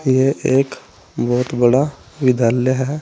यह एक बहुत बड़ा विद्यालय है।